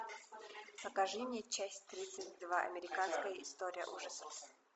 покажи мне часть тридцать два американская история ужасов